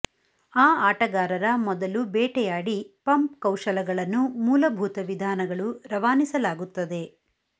ಆ ಆಟಗಾರರ ಮೊದಲು ಬೇಟೆಯಾಡಿ ಪಂಪ್ ಕೌಶಲಗಳನ್ನು ಮೂಲಭೂತ ವಿಧಾನಗಳು ರವಾನಿಸಲಾಗುತ್ತದೆ